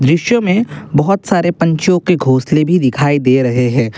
दृश्य में बहुत सारे पंछियों की घोसले भी दिखाई दे रहे हैं ।